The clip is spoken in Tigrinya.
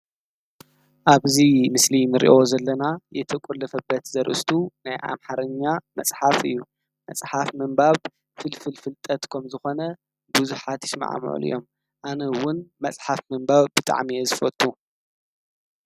ኣብዚ ምስሊ ንሪኦ ዘለና የተቆለፈበት ዘርእስቱ ናይ ኣምሓርኛ መፅሓፍ እዩ፤ መፅሓፍ ምንባብ ፍልፍል ፍልጠት ከምዚ ኮነ ብዙሓት ይስማዕምዕሉ እዮም፤ ኣነ እዉን መፅሓፍ ምንባብ ብጣዕሚ'የ ዝፈቱ።